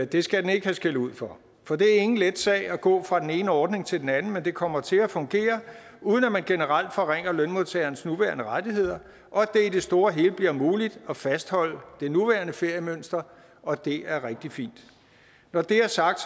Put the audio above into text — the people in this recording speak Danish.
det skal den ikke have skældud for for det er ingen let sag at gå fra den ene ordning til den anden men det kommer til at fungere uden at man generelt forringer lønmodtagernes nuværende rettigheder og i det store og hele bliver det muligt at fastholde det nuværende feriemønster og det er rigtig fint når det er sagt